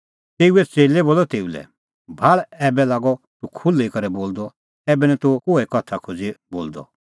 तेऊए च़ेल्लै बोलअ तेऊ लै भाल़ ऐबै लागअ तूह खुल्ही करै बोलदअ ऐबै निं तूह कोई उदाहरणा दी बोलदअ